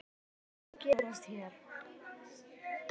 Þetta er ekki að gerast hér.